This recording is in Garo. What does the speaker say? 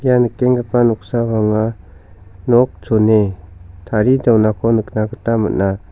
ia nikenggipa noksao anga nok chone tarie donako nikna gita man·a.